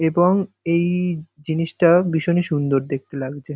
এবং এই জিনিসটা ভীষণই সুন্দর দেখতে লাগযে।